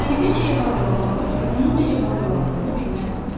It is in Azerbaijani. Yəni bir şeyi hazırlamaq üçün onun necə hazırlandığını bilmək lazımdır.